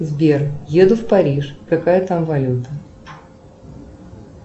сбер еду в париж какая там валюта